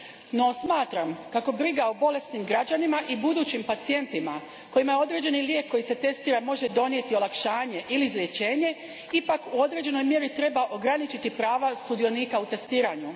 No, smatram kako briga o bolesnim građanima i budućim pacijentima kojima određeni lijek koji se testira može donijeti olakšanje ili izlječenje u određenoj mjeri ipak treba ograničiti prava sudionika u testiranju.